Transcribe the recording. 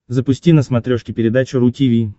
запусти на смотрешке передачу ру ти ви